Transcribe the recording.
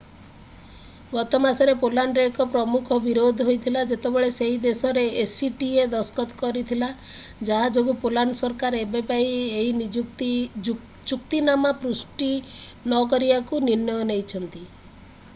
ଗତ ମାସରେ ପୋଲାଣ୍ଡରେ ଏକ ପ୍ରମୁଖ ବିରୋଧ ହୋଇଥିଲା ଯେତେବେଳେ ସେହି ଦେଶ acta ଦସ୍ତଖତ କରିଥିଲା ଯାହା ଯୋଗୁଁ ପୋଲାଣ୍ଡ ସରକାର ଏବେ ପାଇଁ ଏହି ଚୁକ୍ତିନାମା ପୁଷ୍ଟି ନକରିବାକୁ ନିର୍ଣ୍ଣୟ ନେଇଛନ୍ତି